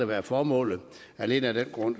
være formålet alene af den grund